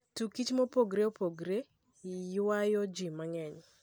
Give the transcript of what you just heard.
Tuke kich maopogore opogore ywayo ji mang'eny